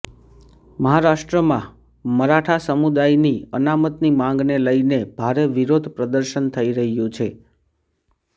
મહારાષ્ટ્રમાં મરાઠા સમુદાય ની અનામતની માંગને લઇને ભારે વિરોધ પ્રદર્શન થઇ રહ્યું છે